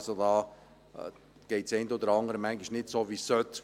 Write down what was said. Dort läuft das eine oder andere manchmal nicht so, wie es sollte.